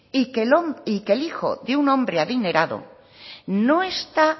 y que el hijo de un hombre adinerado